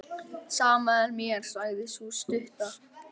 Sama er mér, sagði sú stutta.